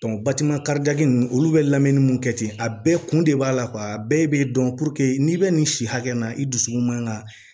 batima karidaji ninnu olu bɛ lamɛnni mun kɛ ten a bɛɛ kun de b'a la a bɛɛ bɛ dɔn n'i bɛ nin si hakɛ na i dusukun man ka